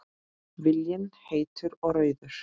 Viljinn heitur og rauður.